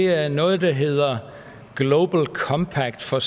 er noget der hedder global compact for